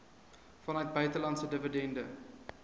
vanuit buitelandse dividende